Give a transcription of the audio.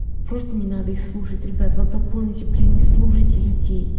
просто не надо их слушать ребят вот заполните блин не слушайте людей